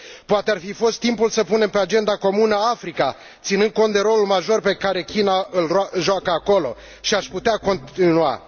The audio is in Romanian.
Poate ar fi fost timpul să punem pe agenda comună Africa, ținând cont de rolul major pe care China îl joacă acolo și aș putea continua.